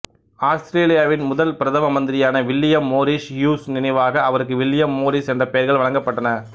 ஆஸ்திரேலியாவின் முதல் பிரதம மந்திரியான் வில்லியம் மோரிஸ் ஹியூஸ் நினைவாக அவருக்கு வில்லியம் மோரிஸ் என்ற பெயர்கள் வழங்கப்பட்டன